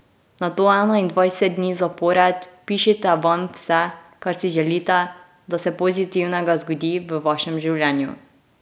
Nato enaindvajset dni zapored pišite vanj vse, kar si želite, da se pozitivnega zgodi v vašem življenju.